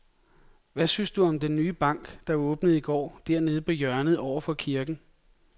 Hvad synes du om den nye bank, der åbnede i går dernede på hjørnet over for kirken?